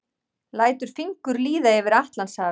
Lætur fingur líða yfir Atlantshafið.